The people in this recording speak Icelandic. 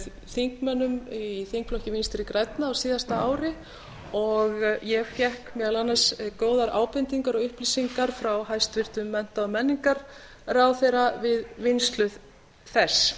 þingmönnum í þingflokki vinstri grænna á síðasta ári og ég fékk meðal annars góðar ábendingar og upplýsingar frá hæstvirtum mennta og menningarmálaráðherra við vinnslu þess